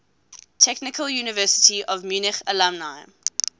technical university of munich alumni